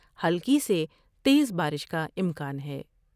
ہلکی سے تیز بارش کا امکان ہے ۔